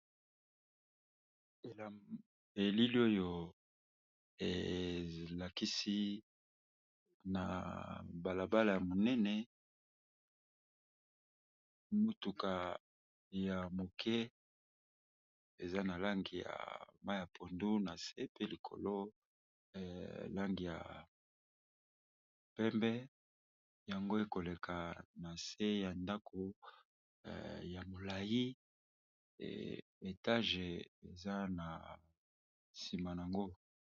Elili oyo elakisi na bala bala ya monene motuka, ya moke eza na langi ya mayi ya pondu na se pe likolo langi ya pembe yango ekoleka na se ya ndako ya molayi etage eza na nsima nango.